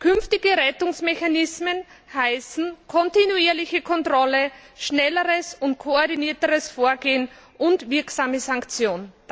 Künftige Rettungsmechanismen heißen kontinuierliche Kontrolle, schnelleres und koordinierteres Vorgehen und wirksame Sanktion.